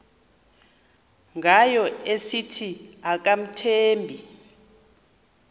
ngayo esithi akamthembi